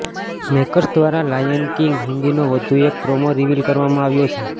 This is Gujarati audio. મેકર્સ દ્રારા લાયન કિંગ હિન્દીનો વધુ એક પ્રોમો રિવીલ કરવામાં આવ્યો છે